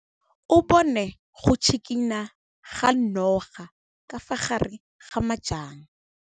O bone go tshikinya ga noga ka fa gare ga majang.